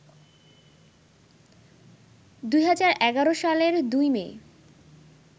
২০১১ সালের ২ মে